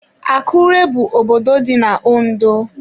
Akụre bụ obodo dị na Ondo.